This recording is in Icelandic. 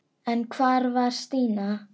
En hvar var Stína?